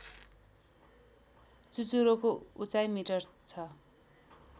चुचुरोको उचाई मिटर छ